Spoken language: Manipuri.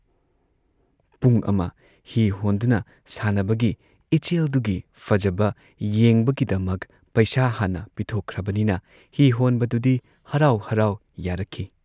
ꯄꯨꯡ ꯑꯃ ꯍꯤ ꯍꯣꯟꯗꯨꯅ ꯁꯥꯟꯅꯕꯒꯤ ꯏꯆꯦꯜꯗꯨꯒꯤ ꯐꯖꯕ ꯌꯦꯡꯕꯒꯤꯗꯃꯛ ꯄꯩꯁꯥ ꯍꯥꯟꯅ ꯄꯤꯊꯣꯛꯈ꯭ꯔꯕꯅꯤꯅ ꯍꯤꯍꯣꯟꯕꯗꯨꯗꯤ ꯍꯔꯥꯎ ꯍꯔꯥꯎ ꯌꯥꯔꯛꯈꯤ ꯫